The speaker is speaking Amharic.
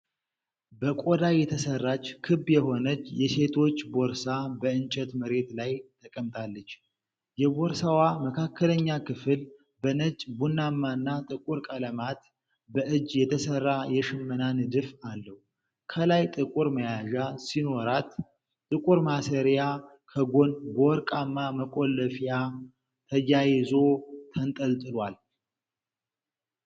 በቆዳ የተሠራች ክብ የሆነች የሴቶች ቦርሳ በእንጨት መሬት ላይ ተቀምጣለች። የቦርሳዋ መካከለኛ ክፍል በነጭ፣ ቡናማና ጥቁር ቀለማት በእጅ የተሠራ የሽመና ንድፍ አለው። ከላይ ጥቁር መያዣ ሲኖራት፤ ጥቁር ማሰሪያ ከጎኑ በወርቃማ መቆለፊያ ተያይዞ ተንጠልጥሏል።